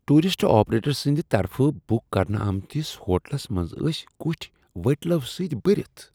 Tourist operator سٕنٛد طرفہٕ book کرنہٕ آمتس ہوٹلس منٛز ٲسۍ کٹھۍ ؤٹلو سۭتۍ بٔرتھ۔